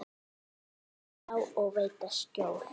mun ljá og veita skjól.